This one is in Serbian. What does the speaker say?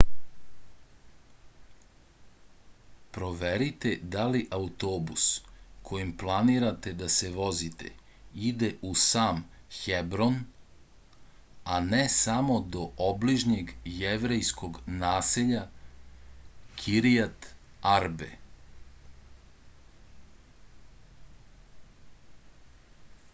proverite da li autobus kojim planirate da se vozite ide u sam hebron a ne samo do obližnjeg jevrejskog naselja kiriat arbe